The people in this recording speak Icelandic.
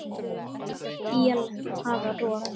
Öll él hafa rof.